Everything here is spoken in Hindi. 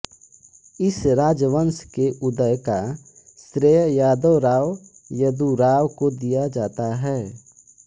इस राजवंश के उदय का श्रेय यादव राव यदुराव को दिया जाता है